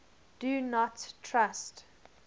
do not trust